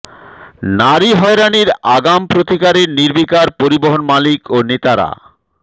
নারী হয়রানির আগাম প্রতিকারে নির্বিকার পরিবহন মালিক ও নেতারা